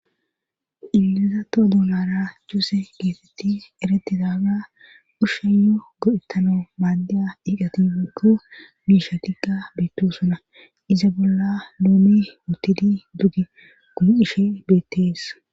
iliiza too duulara chuuse geetetti eretidaaga ushsheyo go7ettano maaddiya iiqatikko miishatiqqa bettosona iza bolla loome huttidi dugi gumiishe beettees